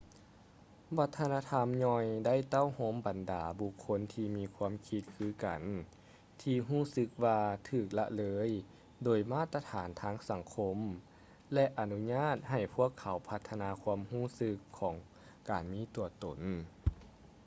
ວັດທະນະທຳຍ່ອຍໄດ້ເຕົ້າໂຮມບັນດາບຸກຄົນທີ່ມີຄວາມຄິດຄືກັນທີ່ຮູ້ສຶກວ່າຖືກລະເລີຍໂດຍມາດຕະຖານທາງສັງຄົມ ແລະ ອະນຸຍາດໃຫ້ພວກເຂົາພັດທະນາຄວາມຮູ້ສຶກຂອງການມີຕົວຕົນ